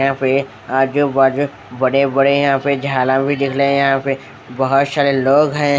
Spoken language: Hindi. यहाँ पे आजू बाजू बड़े बड़े यहाँ भी झाला भी दिख रहे है यहाँ पे बहुत सारे लोंग है ।